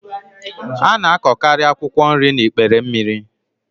A na-akọkarị akwụkwọ nri n'ikpere mmiri.